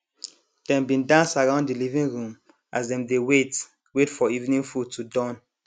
dem bin dance around de living room as dem dey wait wait for evening food to Accepted